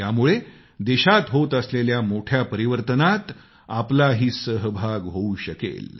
यामुळे देशात होत असलेल्या मोठ्या परिवर्तनात आपलाही सहभाग होऊ शकेल